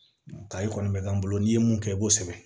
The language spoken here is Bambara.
kayi kɔni bɛ k'an bolo n'i ye mun kɛ i b'o sɛbɛn